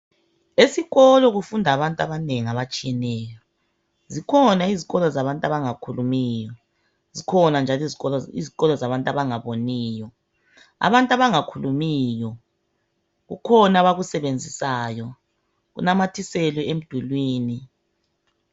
Esikolo kufunda abantu abanengi abatshiyeneyo zikhona izikolo zabantu abangakhulumiyo zikhona njalo izikolo zabantu abangaboniyo, abantu abangakhulumiyo kukhona abakusebenzisayo kunamathiselwe emdulwini.